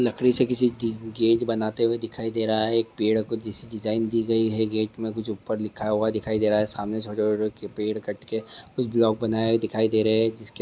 लकड़ी से किसी दी गते बना हुआ दिखाई दे रहा है एक पेड़ को जिस डिजाइन दी गई है गेट मे कुछ ऊपर लिखा हुआ दिखाई दे रहा है सामने छोटे- छोटे पेड़ कट के कुछ ब्लॉक बनाए हुए दिखाई दे रहे है जिसके--